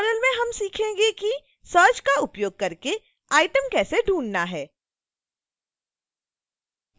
इस tutorial में हम सीखेंगे कि search का उपयोग करके item कैसे ढूँढना है